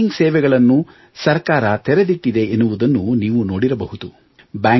banking ಸೇವೆಗಳನ್ನು ಸರ್ಕಾರ ತೆರೆದಿಟ್ಟಿದೆ ಎನ್ನುವುದನ್ನು ನೀವು ನೋಡಿರಬಹುದು